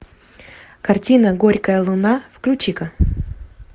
картина горькая луна включи ка